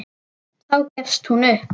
Þá gefst hún upp.